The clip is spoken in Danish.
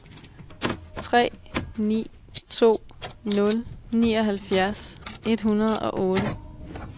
tre ni to nul nioghalvfjerds et hundrede og otte